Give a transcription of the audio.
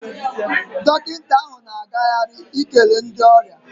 Dọkịta ahụ na agagharị karị ikele ndị ọrịa.